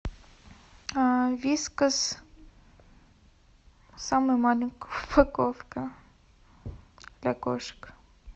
вискас самая маленькая упаковка для кошек